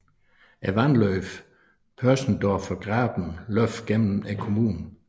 Vandløbet Pöschendorfer Graben løber gennem kommunen